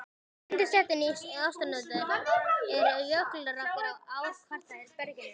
Undir setinu í Ártúnshöfða eru jökulrákir á ár-kvartera berginu.